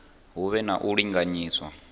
hu vhe na u linganyiswa